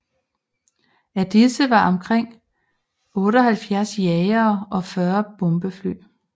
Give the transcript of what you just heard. Af disse var omkring 78 jagere og 40 bombefly